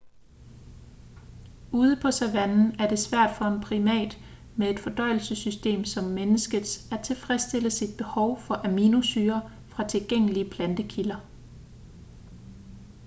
ude på savannen er det svært for en primat med et fordøjelsessystem som menneskets at tilfredsstille sit behov for aminosyrer fra tilgængelige plantekilder